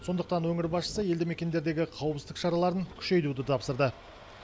сондықтан өңір басшысы елді мекендердегі қауіпсіздік шараларын күшейтуді тапсырды